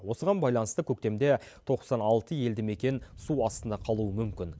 осыған байланысты көктемде тоқсан алты елді мекен су астында қалуы мүмкін